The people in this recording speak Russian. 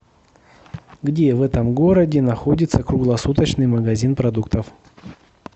где в этом городе находится круглосуточный магазин продуктов